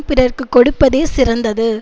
பிறக்குக் கொடுப்பதே சிறந்தது